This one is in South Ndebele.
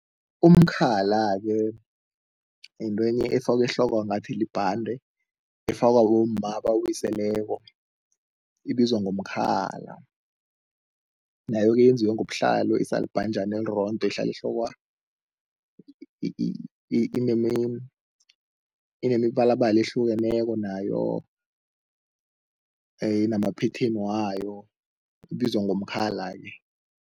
Umkhala-ke yintwenye efakwa ehlokwa, ngathi libhande, efakwa bomma abawiseleko, ibizwa ngomkhala. Nayo-ke yenziwe ngobuhlalu, isalibhanjana elirondo elihlala ehlokwa inemibalabala ehlukeneko nayo inama-pattern wayo, ibizwa ngomkhala-ke.